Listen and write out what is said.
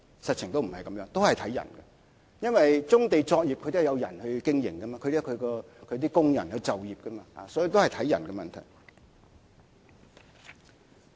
實情不是這樣，都是以人作考慮，因為棕地上的作業都是人在經營，有工人就業，所以都是以人作考慮。